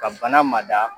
Ka bana mada